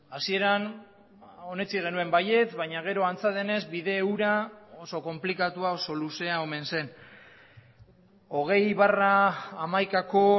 hasieran onetsi genuen baietz baina gero antza denez bide hura oso konplikatua oso luzea omen zen hogei barra hamaikako